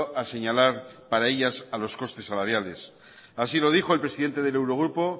a señalar para ellas a los costes salariales así lo dijo el presidente del eurogrupo